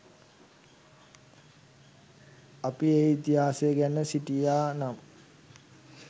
අපි ඒ ඉතිහාසය දැන සිටියා නම්